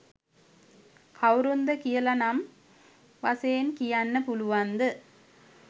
කවුරුන්ද කියලා නම් වශයෙන් කියන්න පුළුවන්ද?